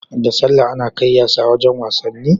Da sallah Ana kai yasa wajan wasanni